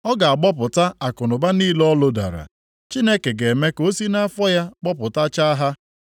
Ọ ga-agbọpụta akụnụba niile o lodara; Chineke ga-eme ka o si nʼafọ ya gbọpụtachaa ha.